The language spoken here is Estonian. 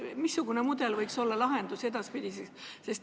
Missugune mudel võiks olla lahendus edaspidiseks?